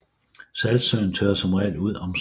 Saltsøen tørrer som regel ud om sommeren